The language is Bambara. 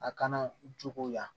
A kana jogo yan